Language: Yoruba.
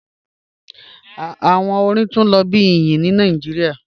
Awọn ọ̀rìn tun lo bi iyin ni Nigeria